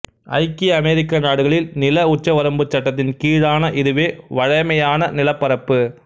ஐக்கிய அமெரிக்க நாடுகளில் நில உச்சவரம்புச் சட்டத்தின் கீழான இதுவே வழமையான நிலப்பரப்பு